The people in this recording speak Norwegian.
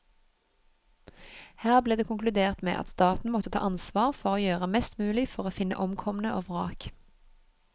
Her ble det konkludert med at staten måtte ta ansvar for å gjøre mest mulig for å finne omkomne og vrak.